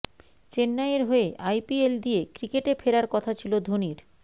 চেন্নাইয়ের হয়ে আইপিএল দিয়ে ক্রিকেটে ফেরার কথা ছিল ধোনির